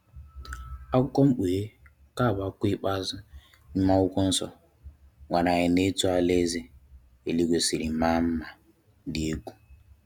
Akwùkwo mkpùhè, nke bụ akwùkwo ikpeazụ n'ime akwùkwo nso, gwàrà anyị etù alàèzè èlìgwe siri màa nma dị ẹ̀gwu.